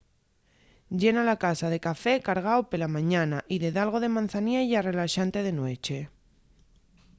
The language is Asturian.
llena la casa de café cargao pela mañana y de dalgo de mazaniella relaxante de nueche